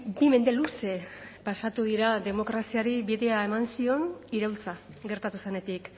bi mende luze pasatu dira demokraziari bidea eman zion iraultza gertatu zenetik